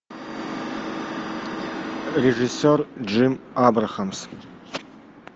режиссер джим абрахамс